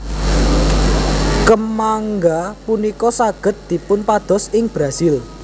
Kemangga punika saged dipunpados ing Brasil